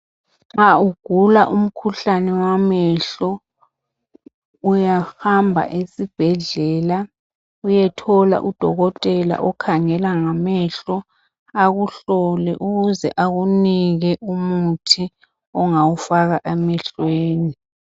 Nxa ugula umkhuhlane wamehlo, uyahamba esibhedlela uyethola udokotela okhangela ngamehlo, akuhlole ukuze akunike umuthi ongawufaka emehlweni.